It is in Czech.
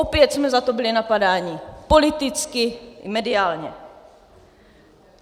Opět jsme za to byli napadáni politicky i mediálně.